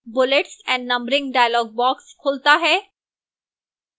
bullets and numbering dialog box खुलता है